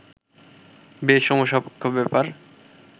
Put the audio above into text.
বেশ সময়সাপেক্ষ ব্যাপার